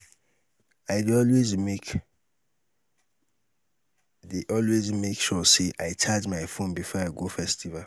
i dey always make dey always make sure sey i charge my phone before i go festival.